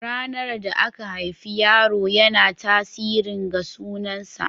Ranar da aka haifi yaro yana tasirin ga sunan sa.